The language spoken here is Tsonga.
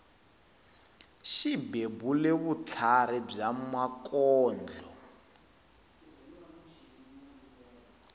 xi bebule vutlhari bya makondlo